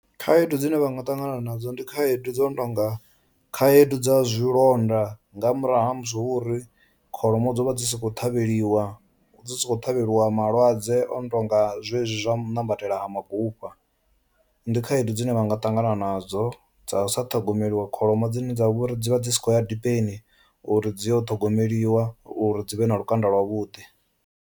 Khaedu dzine vha nga ṱangana nadzo ndi khaedu dzo no to nga khaedu dza zwilonda nga murahu ha musi hu uri kholomo dzo vha dzi sokou ṱhavheliwa dzi sa khou ṱhavhelwa malwadze ono tonga zwezwo zwa u nambatela ha magupa, ndi khaedu dzine vha nga ṱangana nadzo dza u sa ṱhogomeliwa kholomo dzine dzavha uri dzivha dzi sa khou ya dipeni uri dzi yo ṱhogomeliwa uri dzi vhe na lukanda lwa vhuḓi.